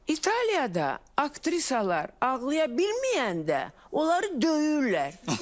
İtaliyada aktrisalar ağlaya bilməyəndə, onları döyürlər.